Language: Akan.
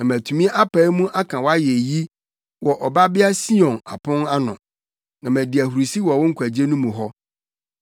na matumi apae mu aka wʼayeyi wɔ Ɔbabea Sion apon ano, na madi ahurusi wɔ wo nkwagye no mu hɔ.